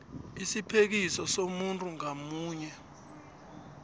isiphekiso somuntu ngamunye